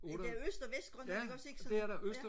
ja det er øst og vest grøndland ikke også ikke så